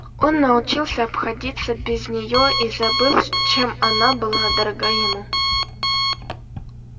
он научился обходиться без нее и забыл чем она была дорога ему